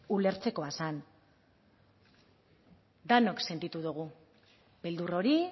ulertzekoa zen denok sentitu dugu beldur hori